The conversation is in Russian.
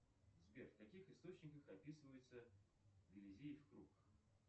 сбер в каких источниках описывается елизеев круг